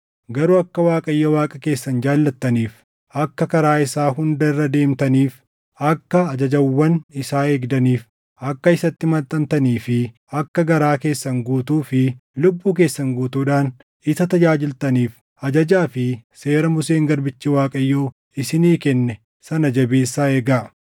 Garuu akka Waaqayyo Waaqa keessan jaallattaniif, akka karaa isaa hunda irra deemtaniif, akka ajajawwan isaa eegdaniif, akka isatti maxxantanii fi akka garaa keessan guutuu fi lubbuu keessan guutuudhaan isa tajaajiltaniif ajajaa fi seera Museen garbichi Waaqayyoo isinii kenne sana jabeessaa eegaa.”